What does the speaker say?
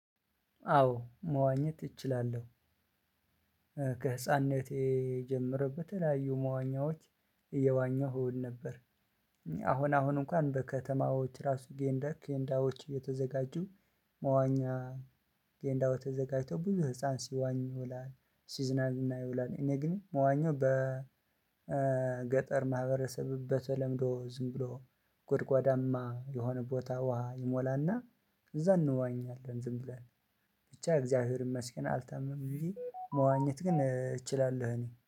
አዎ መዋኘት እችላለሁ። ከህፃንነቴ ጀምሮ የተለያዩ መዋኛዎች እየዋኘሁ ነበር። አሁን አሁን እንኳን በከተማዎች ራሱ ገንዳዎች የተዘጋጁ መዋኛ የገንዳው ተዘጋጅቶ ብዙ ህፃን ሲዋኝ ይውላል። ሲዝናል እና ይውላል። እኔ ግን መዋኘው በገጠር ማህበረሰብ በተለምዶ ዝም ብሎ ጎድጓዳማ የሆነ ቦታ ውሃ ይሞላና። እዛ እንዋኛለን። ዝም ብለን ብቻ እግዚአብሔርን መስገን አልተመመኝም ብዬ መዋኘት ግን እችላለሁ። እኔ